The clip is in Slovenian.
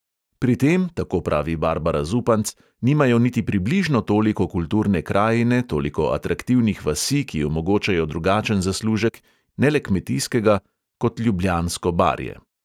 Pri tem, tako pravi barbara zupanc, nimajo niti približno toliko kulturne krajine, toliko atraktivnih vasi, ki omogočajo drugačen zaslužek, ne le kmetijskega, kot ljubljansko barje.